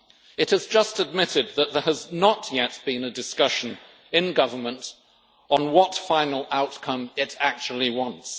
It has just admitted that there has not yet been a discussion in government on what final outcome it actually wants.